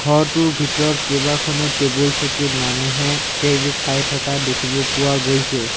ঘৰটোৰ ভিতৰত কেইবাখনো টেবুল চকীত মানুহে খাই থকা দেখিব পোৱা গৈছে।